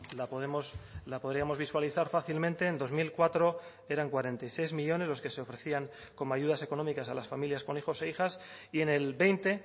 la podemos la podríamos visualizar fácilmente en dos mil cuatro eran cuarenta y seis millónes los que se ofrecían como ayudas económicas a las familias con hijos e hijas y en el veinte